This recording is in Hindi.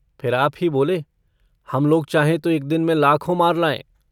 फिर आप ही बोले - हम लोग चाहें तो एक दिन में लाखों मार लायें।